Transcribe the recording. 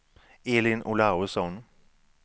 Elin Olausson